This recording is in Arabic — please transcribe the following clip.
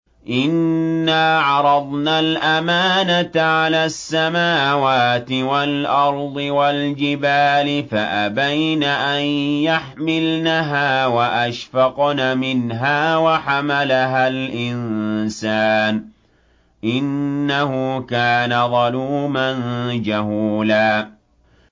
إِنَّا عَرَضْنَا الْأَمَانَةَ عَلَى السَّمَاوَاتِ وَالْأَرْضِ وَالْجِبَالِ فَأَبَيْنَ أَن يَحْمِلْنَهَا وَأَشْفَقْنَ مِنْهَا وَحَمَلَهَا الْإِنسَانُ ۖ إِنَّهُ كَانَ ظَلُومًا جَهُولًا